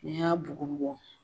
Ni y'a bugubugu.